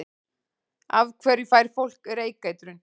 Af hverju fær fólk reykeitrun?